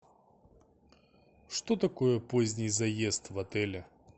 что такое поздний заезд в отеле